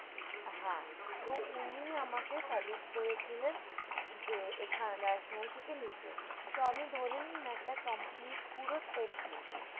হ্যাঁ তো উনি আমাকে suggest করেছিলেন যে এখান national থেকে নিতে তো আমি ধরে নিন একটা complete পুরো set নেবো